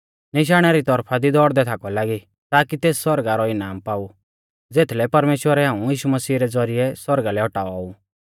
निशाणा री तौरफा दी दौड़दै थाकाऊ लागी ताकि तेस सौरगा रौ इनाम पाऊ ज़ेथलै परमेश्‍वरै हाऊं यीशु मसीह रै ज़ौरिऐ सौरगा लै औटाऔ ऊ